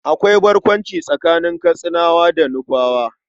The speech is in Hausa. Akwai barkwanci tsakanin Katsinawa da Nufawa.